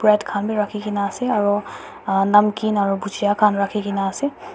bread khan bi rakhi kena ase aru um namkeen aru gujya khan rakhi kena ase.